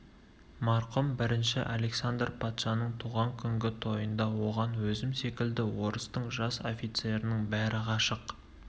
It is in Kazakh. марқұм бірінші александр патшаның туған күнгі тойында оған өзім секілді орыстың жас офицерінің бәрі ғашық